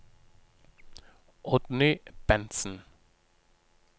Oddny Bentsen